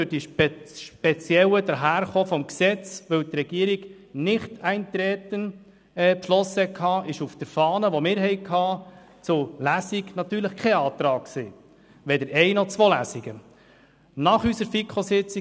Aufgrund des wiederum speziellen Daherkommen des Gesetzes, weil die Regierung Nichteintreten beschlossen hatte, enthielt Fahne, die uns zur Lesung vorlag, natürlich keinen entsprechend Antrag, weder auf die Durchführung von nur einer Lesung noch auf die Durchführung von zwei Lesungen.